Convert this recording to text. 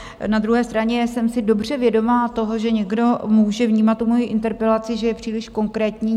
Na druhé straně jsem si dobře vědoma toho, že někdo může vnímat tu mojI interpelaci, že je příliš konkrétní.